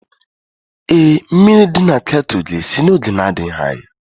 Ee, mmiri dị na kettle ga-esi n'oge na-adịghị anya